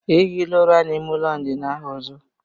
Ehila ụra n'ime ụlọ ndina ahụ ọzọ!